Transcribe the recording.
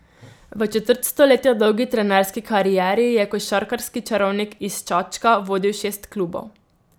V četrt stoletja dolgi trenerski karieri je košarkarski čarovnik iz Čačka vodil šest klubov.